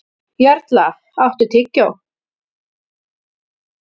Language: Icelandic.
Jarla, áttu tyggjó?